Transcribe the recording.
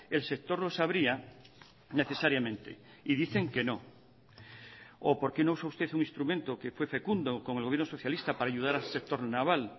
el sector lo sabría necesariamente y dicen que no o por qué no usa usted un instrumento que fue fecundo con el gobierno socialista para ayudar al sector naval